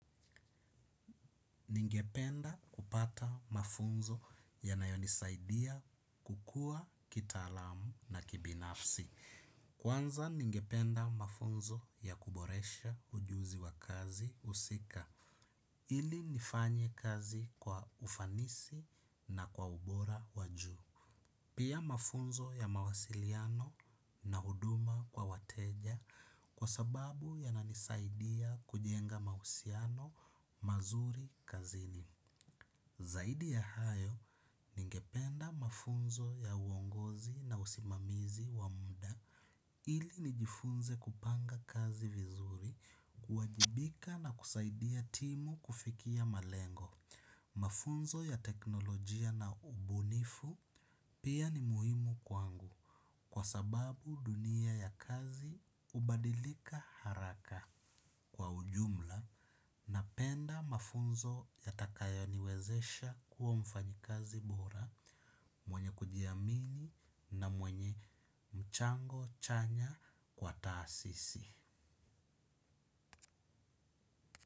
Ningependa kupata mafunzo ya nayonisaidia kukua kitaalamu na kibinafsi. Kwanza ningependa mafunzo ya kuboresha ujuzi wa kazi usika. Ili nifanye kazi kwa ufanisi na kwa ubora wa juu. Pia mafunzo ya mawasiliano na huduma kwa wateja kwa sababu yananisaidia kujenga mausiano mazuri kazini. Zaidi ya hayo ningependa mafunzo ya uongozi na usimamizi wa mda ili nijifunze kupanga kazi vizuri kuwajibika na kusaidia timu kufikia malengo. Mafunzo ya teknolojia na ubunifu pia ni muhimu kwangu kwa sababu dunia ya kazi ubadilika haraka. Kwa ujumla, napenda mafunzo yatakayo niwezesha kuwa mfanyikazi bora mwenye kujiamini na mwenye mchango chanya kwa taasisi.